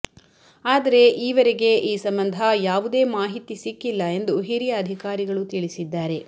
ಆದರೆ ಈವರೆಗೆ ಈ ಸಂಬಂಧ ಯಾವುದೇ ಮಾಹಿತಿ ಸಿಕ್ಕಿಲ್ಲ ಎಂದು ಹಿರಿಯ ಅಧಿಕಾರಿಗಳು ತಿಳಿಸಿದ್ದಾರೆ